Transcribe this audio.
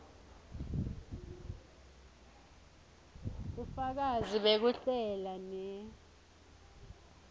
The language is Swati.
bufakazi bekuhlela ne